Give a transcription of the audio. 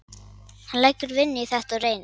Hann leggur vinnu í þetta og reynir.